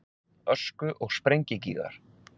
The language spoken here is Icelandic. Ösku- og sprengigígar.